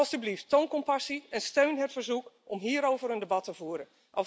Alstublieft, toon compassie en steun het verzoek om hierover een debat te voeren.